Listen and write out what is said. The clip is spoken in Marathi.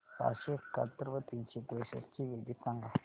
सहाशे एकाहत्तर व तीनशे त्रेसष्ट ची बेरीज सांगा